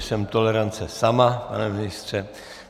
Jsem tolerance sama, pane ministře.